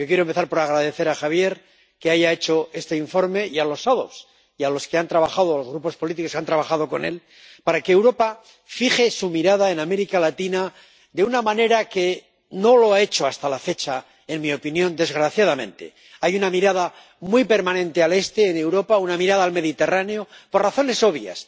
Quiero empezar por agradecer a Javier que haya elaborado este informe —y a los ponentes alternativos y grupos políticos que han trabajado con él— para que Europa fije su mirada en América Latina de una manera en que no lo ha hecho hasta la fecha —en mi opinión, desgraciadamente—. Hay una mirada permanente al este de Europa, una mirada al Mediterráneo, por razones obvias